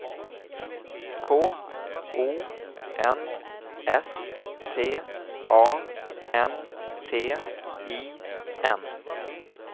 K O N S T A N T I N